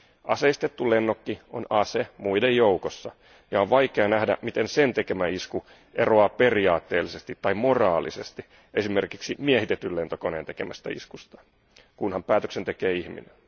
Aseistettu lennokki on ase muiden joukossa ja on vaikea nähdä, miten sen tekemä isku eroaa periaatteellisesti tai moraalisesti esimerkiksi miehitetyn lentokoneen tekemästä iskusta, kunhan päätöksen tekee ihminen.